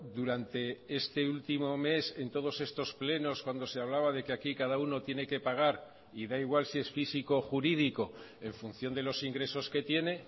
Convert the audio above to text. durante este último mes en todos estos plenos cuando se hablaba de que aquí cada uno tiene que pagar y da igual si es físico o jurídico en función de los ingresos que tiene